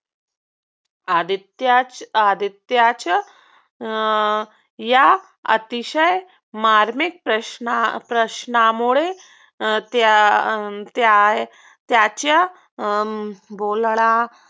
आदित्य आदित्यचं अं या अतिशय मार्मिक प्रश्न प्रश्नामुळे त्या त्या त्याच्या बोलणा